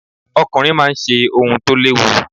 Ọkùnrin máa ń ṣe ohun tó léwu.